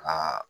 Aa